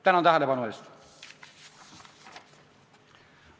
Tänan tähelepanu eest!